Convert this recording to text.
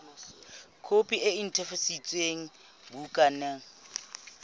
khopi e netefaditsweng ya bukana